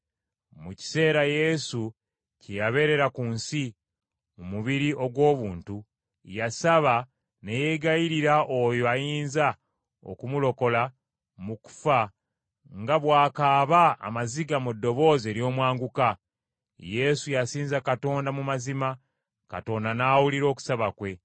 Mu kiseera Yesu kye yabeerera ku nsi mu mubiri ogw’obuntu, yasaba ne yeegayirira oyo ayinza okumulokola mu kufa nga bw’akaaba amaziga mu ddoboozi ery’omwanguka. Yesu yasinza Katonda mu mazima, Katonda n’awulira okusaba kwe.